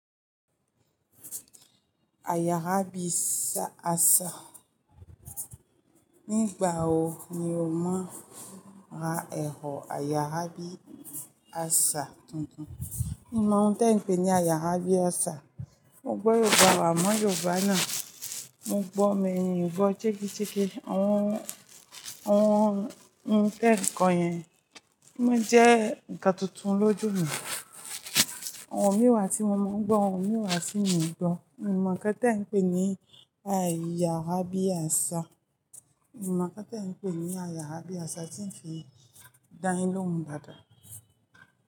Àyà ábí sa asa. Nígbà wo ni o má ra ẹ̀rọ àyàrábí asa tuntun? Mi ò mọ ohun tí ẹ̀ ń pè ní àyà ábí asa. Mo gbọ́ Yorùbá à mọ́ Yorùbá náà, mo gbọ́ mi mi ò gbọ́ jeke jeke. Ohun, ohun tí ń kọ yẹn, ó jẹ́ ǹkan tuntun lójú mi. Orun mi wà tí mo máa ń gbọ́ orun ìwà tí mi ò gbọ́. N mọ̀ ká tí ẹ̀ ń pè ní àyàrá bí asa. N ò mọ̀ ǹkan tí ẹ̀ ń pè ní àyàrábí asa tí ń fi dá yín lóhùn dáadáa.